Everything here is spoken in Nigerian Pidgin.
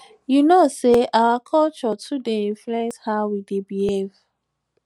you no know sey our culture too dey influence how we dey behave